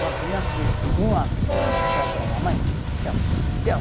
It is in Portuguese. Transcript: Uma criança de um ano, quando dá tchau para a mamãe, tchau, tchau.